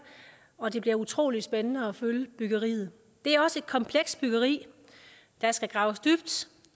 og det bliver utrolig spændende at følge byggeriet det er også et komplekst byggeri der skal graves dybt